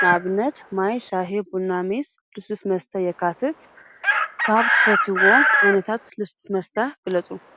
ንኣብነት ማይ ፣ሻሂ፣ ቡና፣ ሜስ፣ ልስሉስ መስተ የካትት። ካብ እትፈትዎ ዓይነታት ልስሉስ መስተ ግለፁ?